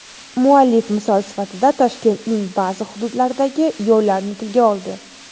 Muallif misol sifatida Toshkentning ba’zi hududlaridagi yo‘llarni tilga oldi.